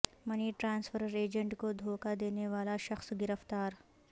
منی transfer agent کو دھوکہ دینے والا شخص گرفتار